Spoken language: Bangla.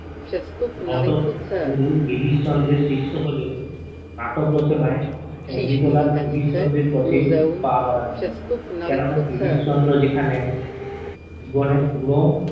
নোট গুরু গিরিশ চন্দ্রর শিষ্য হলেও নাটক রচনায় অমৃতলাল গিরিশ চন্দ্রর পথ এ পা বারান নি কেনো না গিরিশচন্দ্র যেখানে জীবনের গুর